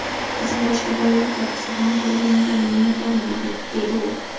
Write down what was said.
Qizim boshqa bolalar kabi sog‘lom tug‘ilganidan minnatdorman”, deydi u.